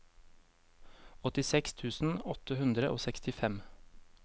åttiseks tusen åtte hundre og sekstifem